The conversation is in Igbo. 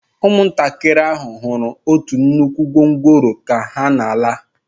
Ụmụntakịrị ahụ hụrụ otu nnukwu gwongworo ka ha na-ala